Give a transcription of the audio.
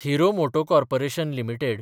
hero moto corporation limited